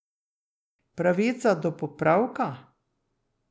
Pravica do popravka?